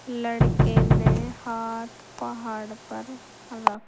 लड़के ने हाथ पहाड़ पर र--